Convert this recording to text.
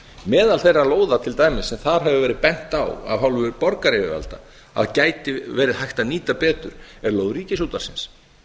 meðal þeirra lóða til dæmis sem þar hefur verið bent á af hálfu borgaryfirvalda að gæti verið hægt að nýta betur er lóð ríkisútvarpsins